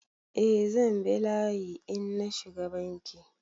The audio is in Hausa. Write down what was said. Eh zan bi layi in na shiga Banki.